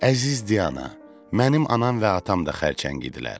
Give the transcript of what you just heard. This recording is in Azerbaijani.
Əziz Diana, mənim anam və atam da xərçəng idilər.